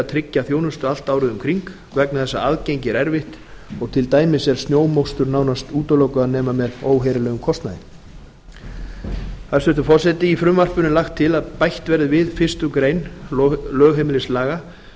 tryggja þjónustu allt árið um kring vegna þess að aðgengi er erfitt og til dæmis er snjómokstur nánast útilokaður nema með óheyrilegum kostnaði hæstvirtur forseti í frumvarpinu er lagt til að bætt verði við fyrstu grein lögheimilislaga